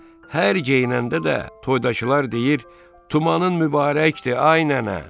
Hər geyinəndə də toydakılar deyir: “Tumanın mübarəkdir, ay nənə!”